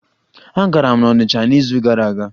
Agara m onitcha n'izu gara aga.